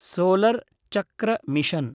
solar चक्र mission